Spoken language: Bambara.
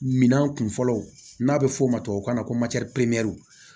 Minan kun fɔlɔ n'a bɛ f'o ma tubabukan na ko